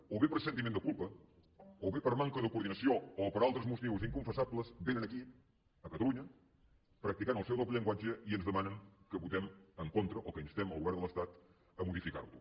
o bé per sentiment de culpa o bé per manca de coordinació o per altres motius inconfessables vénen aquí a catalunya practicant el seu doble llenguatge i ens demanen que votem en contra o que instem el govern de l’estat a modificar lo